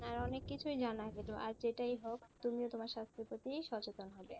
হ্যাঁ অনেক কিছুই জানা গেল আর যেটাই হোক তুমিও তোমার স্বাস্থ্যের প্রতি সচেতন থেকো,